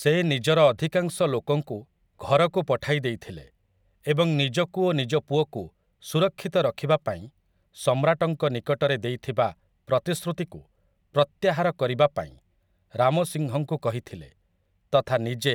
ସେ ନିଜର ଅଧିକାଂଶ ଲୋକଙ୍କୁ ଘରକୁ ପଠାଇ ଦେଇଥିଲେ ଏବଂ ନିଜକୁ ଓ ନିଜ ପୁଅକୁ ସୁରକ୍ଷିତ ରଖିବା ପାଇଁ ସମ୍ରାଟଙ୍କ ନିକଟରେ ଦେଇଥିବା ପ୍ରତିଶ୍ରୁତିକୁ ପ୍ରତ୍ୟାହାର କରିବା ପାଇଁ ରାମ ସିଂହଙ୍କୁ କହିଥିଲେ ତଥା ନିଜେ